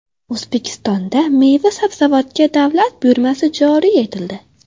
O‘zbekistonda meva-sabzavotga davlat buyurtmasi joriy etildi.